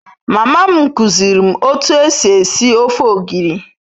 Mama m kuziiri m otu esi esi ofe ogiri